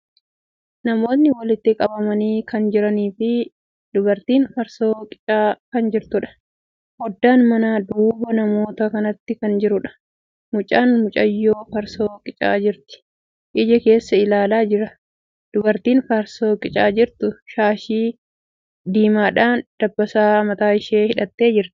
Namootni walitti qabamanii kan jiranii fi dubartiin farsoo qicaa kan jirtuudha. Foddaan manaa, duuba namoota kanaatti kan jiruudha. Mucaan mucayyoo farsoo qicaa jirtu ija keessa ilaalaa jira. Dubartiin farsoo qicaa jirtu shaashii diimaadhan dabbasaa mataa ishee hidhattee jirti.